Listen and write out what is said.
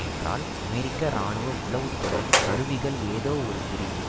என்றால் அமெரிக்க இராணுவ உளவு துறை கருவியிகள் ஏதோ ஒரு பிரிவு